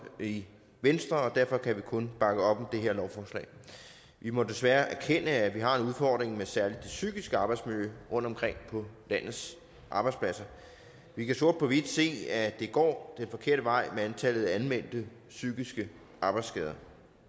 i venstre og derfor kan vi kun bakke op om det her lovforslag vi må desværre erkende at vi har en udfordring med særlig det psykiske arbejdsmiljø rundtomkring på landets arbejdspladser vi kan sort på hvidt se at det går den forkerte vej med antallet af anmeldte psykiske arbejdsskader